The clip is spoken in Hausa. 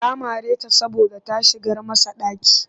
Ya mare ta saboda ta shigar masa ɗaki